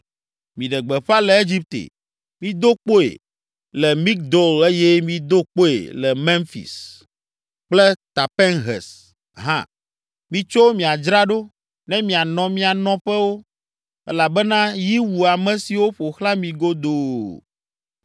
“Miɖe gbeƒã le Egipte, mido kpoe le Migdol eye mido kpoe le Memfis kple Tapanhes hã. ‘Mitso miadzra ɖo, ne mianɔ mia nɔƒewo elabena yi wu ame siwo ƒo xlã mi godoo.’